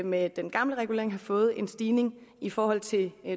med den gamle regulering have fået en stigning i forhold til